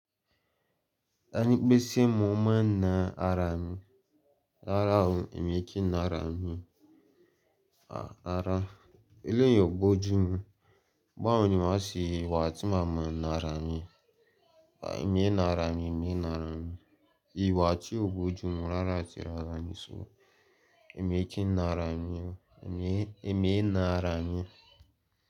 Danikpesie m ụmụnnaara m, rara ahụ. E mee ike nara m, a rara. Eleyiị ọ bọ ojú mu, bawo ni ma se wa ti ma ma nara mi. E mi e nara mi, e mi e nara mi. Iwa ti o bọ ojú mu rara atị rara ni so emi o kin e mi e na ara mi,